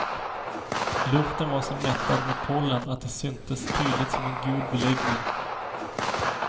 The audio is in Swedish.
Luften var så mättad med pollen att de syntes tydligt som en gul beläggning.